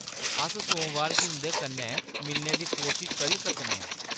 अस सोमबार गी उंʼदे कन्नै मिलने दी कोशश करी सकने आं।